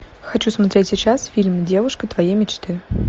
хочу смотреть сейчас фильм девушка твоей мечты